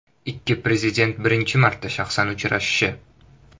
Ikki prezident birinchi marta shaxsan uchrashishi.